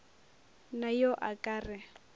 na yo a ka re